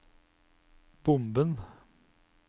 bomben